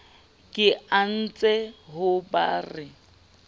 ke anetse ho ba re